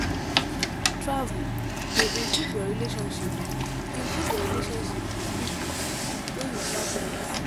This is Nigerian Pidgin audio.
Travel dey improve your relationship improve your relationship with people wey you travel with.